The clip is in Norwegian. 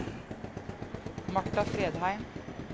Martha Fredheim